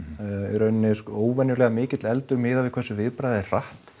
í raun óvenjulega mikill eldur miðað við hversu viðbragðið er hratt